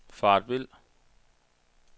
faret vild